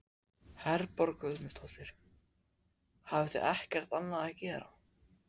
Herborg Guðmundsdóttir: Hafið þið ekkert annað að gera?